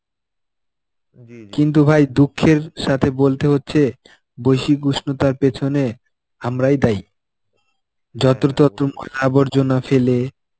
কিন্তু ভাই দুঃখের সাথে বলতে হচ্ছে বৈশিক উষ্ণতার পেছনে আমরাই দায়ী. যত্র তত্র আবর্জনা ফেলে